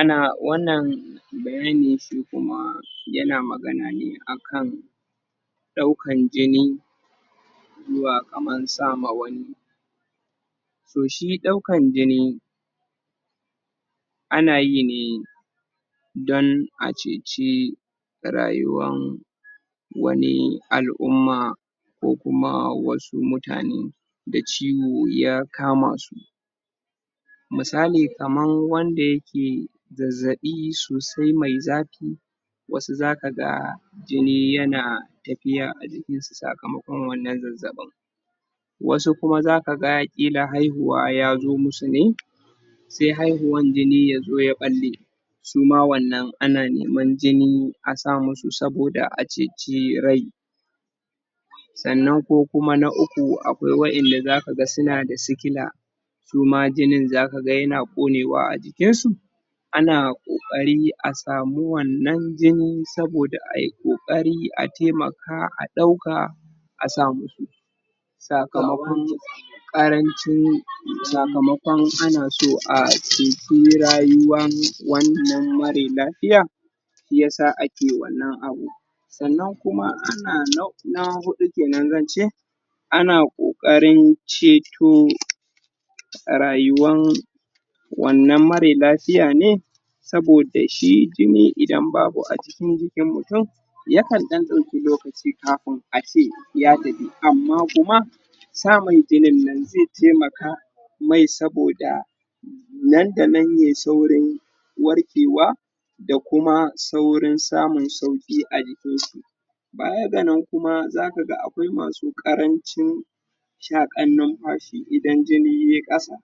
Ana wannan bayani shi kuma yana magana ne a kan ɗaukan jini, zuwa kaman sa ma wani. Toh, shi ɗaukan jini, ana yi ne don a ceci rayuwan wani al'umma ko kuma wasu mutane da ciwo ya kama su, misali kaman wanda yake zazzaɓi sosai mai zafi wasu zakaga jini yana tafiya a jikinsu sakamakon wanan zazzaɓin, wasu kuma za kaga ƙila haihuwa yazo musu ne sai, haihuwan jini yazo ya ɓalle su ma wannan ana neman jini a sa musu saboda a ceci rai. Sannan ko kuma na uku akwai wa'inda za kaga suna da sikila, su ma jinin zakaga yana ƙonewa a jikinsu ana ƙoƙari a samu wannan jini saboda ai ƙoƙari a taimaka a ɗauka a sa musu, sakamakon ƙarancin sakamakon ana so a ceci rayuwan wannan mare lafiya, shi yasa ake wannan abun. Sannan kuma ana na huɗu kenan zan ce, ana ƙoƙarin ceto rayuwan wannan mare lafiya ne saboda shi jini idan babu a cikin jikin mutum, ya kan ɗan ɗauki lokaci kafin ace ya tafi, amma kuma samun jinin nan zai taimaka mai saboda nan da nan yay saurin warkewa, da kuma saurin samun sauƙi a jikinsa. Baya ga nan kuma za kaga akwai masu ƙarancin shaƙan numfashi idan jini yay ƙasa,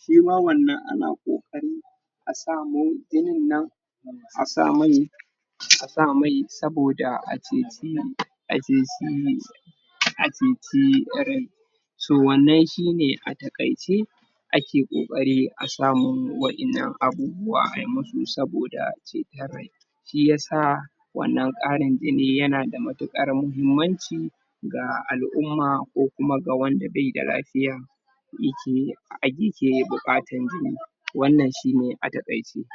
shima wanann ana ƙoƙarin a samo jinin nan a sa mai, a sa mai saboda a ceci a ceci a ceci irin, so wanann shine a taƙaice ake ƙoƙari a samu wa'innan abubuwa ai musu saboda ceton rai. Shi yasa wannan ƙarin jini yana da matuƙar mahimmanci ga al'umma ko kuma ga wanda baida lafiya yake a ke buƙatan jini. Wannan shine a taƙaice.